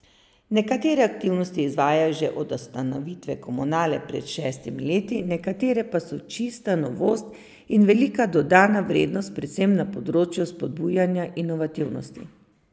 Nekatere aktivnosti izvajajo že od ustanovitve komunale pred šestimi leti, nekatere pa so čista novost in velika dodana vrednost, predvsem na področju spodbujanja inovativnosti.